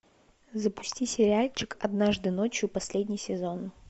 запусти сериальчик однажды ночью последний сезон